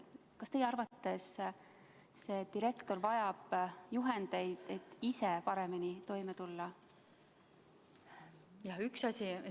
Kas teie arvates direktor vajab juhendeid, et ise paremini toime tulla?